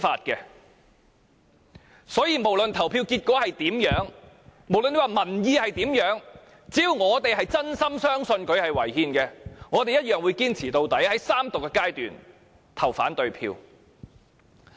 因此，不論投票結果是如何，民意是如何，只要我們是真心相信《條例草案》是違憲的，我們一樣會堅持到底，在三讀階段投下反對票。